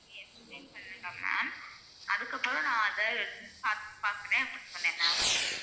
நீங்க explain பண்ணுங்க ma'am அதுக்கு அப்புறம் நா அத பா~ பாக்குற அப்படின்னு சொன்ன ma'am